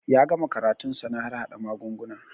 Ya gama karatun sa na harhaɗa magunguna